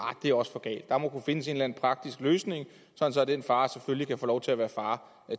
det er også for galt der må kunne findes en eller en praktisk løsning sådan at den far selvfølgelig kan få lov til at være far